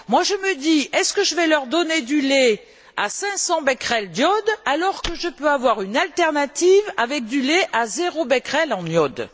Moi, je me dis, est ce que je vais leur donner du lait à 500 becquerels d'iode, alors que je peux avoir une alternative avec du lait à zéro becquerel d'iode?